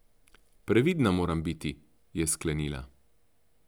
Previdna moram biti, je sklenila.